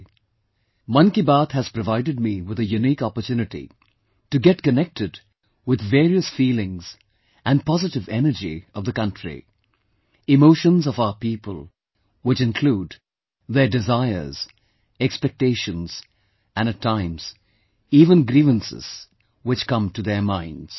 "Mann Ki Baat" has provided me with a unique opportunity to get connected with various feelings and positive energy of the country; emotions of our people which include their desires, expectations and at times, even grievances, which come to their minds